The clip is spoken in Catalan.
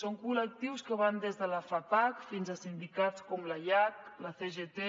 són col·lectius que van des de la fapac fins a sindicats com l’aiac la cgt